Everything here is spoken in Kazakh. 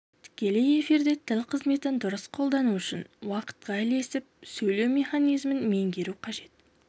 тікелей эфирде тіл қызметін дұрыс қолдану үшін уақытқа ілесіп сөйлеу механизмін меңгеру қажет